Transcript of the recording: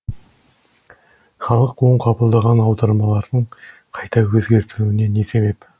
халық оң қабылдаған аудармалардың қайта өзгертілуіне не себеп